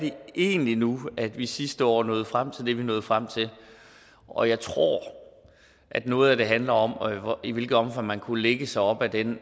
egentlig nu er at vi sidste år nåede frem til det vi nåede frem til og jeg tror at noget af det handler om i hvilket omfang man kunne lægge sig op ad den